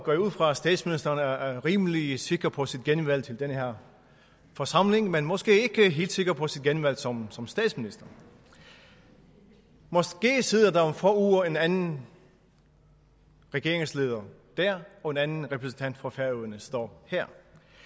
går jeg ud fra at statsministeren er rimelig sikker på sit genvalg til den her forsamling men måske ikke helt sikker på sit genvalg som som statsminister måske sidder der om få uger en anden regeringsleder der og en anden repræsentant for færøerne står her